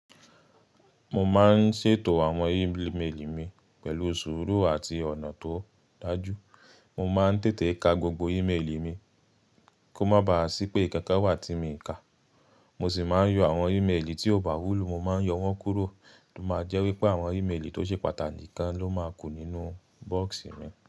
Mo máa ń ṣètò àwọn ímeèlì mi pẹ̀lú sùúrù àti ọ̀nà tó dájú. Mo máa ń tètè ka gbogbo ímeèlì mi kó má ba à sí pé ikankan wà tí mi i ka. Mo sì máa ń yọ àwọn ímeèlì tí ó bá wúlù, mo máa ń yọ wọ́n kúrò. Ó máa jẹ́ wípé àwọn ímeèlì tó ṣe pàtàkì gan ló máa ku nínú box mi.